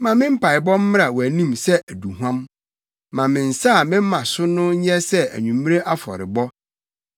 Ma me mpaebɔ mmra wʼanim sɛ aduhuam; ma me nsa a mema so no nyɛ sɛ anwummere afɔrebɔ.